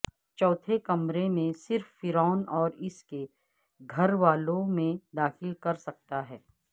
چوتھے کمرے میں صرف فرعون اور اس کے گھر والوں میں داخل کر سکتا ہے